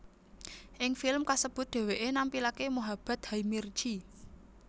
Ing film kasebut dheweké nampilaké Mohabbat hai mirchi